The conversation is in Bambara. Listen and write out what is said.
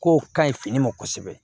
Kow ka ɲi fini ma kosɛbɛ